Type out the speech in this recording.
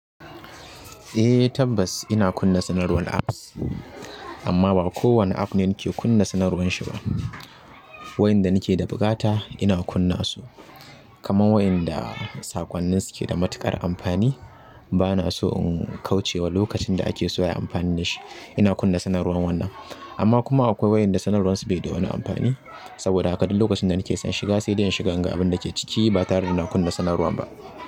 Eh tabbas ina kunna sanarwar apps, amma ba kowane app ne nake kunna sanarwar shi ba. Wa'ƴanda nake da buƙata ina kunnasu kamar wa'yanda saƙonnin su keda matuƙar amfani bana so in kauce wa lokacin da ake so ya yi amfani da shi. Ina kunna sanarwan wannan. Amma kuma akwai waɗanda sanarwar su bai da wani amfani saboda haka duk lokacin da nake son shiga sai ɗan shiga, gaba dake ciki ba tare da na kunna sanarwar ba.